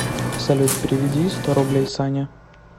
салют переведи сто рублей сане